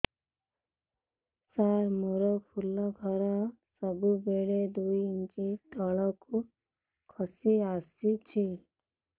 ସାର ମୋର ଫୁଲ ଘର ସବୁ ବେଳେ ଦୁଇ ଇଞ୍ଚ ତଳକୁ ଖସି ଆସିଛି